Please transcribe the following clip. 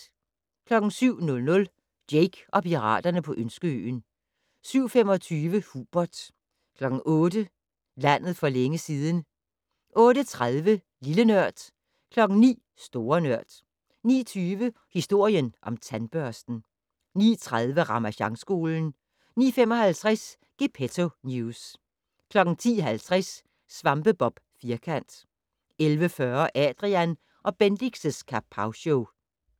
07:00: Jake og piraterne på Ønskeøen 07:25: Hubert 08:00: Landet for længe siden 08:30: Lille Nørd 09:00: Store Nørd 09:20: Historien om tandbørsten 09:30: Ramasjangskolen 09:55: Gepetto News 10:50: SvampeBob Firkant 11:40: Adrian & Bendix' Kapowshow